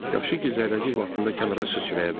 Yaxşı ki, zərrəcik vaxtında kənara sıçraya bildi.